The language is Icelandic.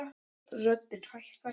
Röddin hækkar.